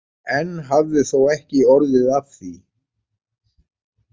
Enn hafði þó ekki orðið af því.